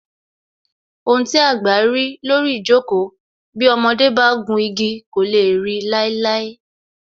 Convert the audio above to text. Ohun tí àgbà rí lórí ijoko, bí ọmọdé bá gùn igi kò lè ri láíláí